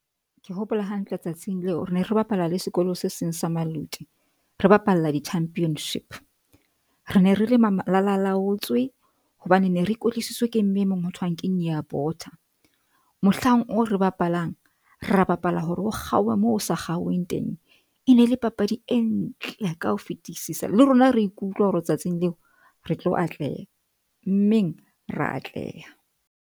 Ke hopola hantle tsatsing leo. Re ne re bapala le sekolo se seng sa Maluti. Re bapalla di-championship re ne re le malalaotswe hobane ne re ke ke mme e mong ho thweng ke mohlang oo re bapalang. Re a bapala hore ho kgaohe moo ho sa kgauweng teng. E ne le papadi e ntle ka ho fetisisa le rona re ikutlwa hore tsatsing leo re tlo atleha meng ra atleha.